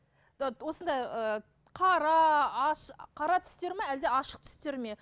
осындай ы қара қара түстер ме әлде ашық түстер ме